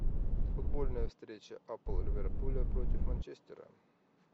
футбольная встреча апл ливерпуля против манчестера